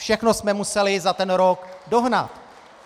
Všechno jsme museli za ten rok dohnat.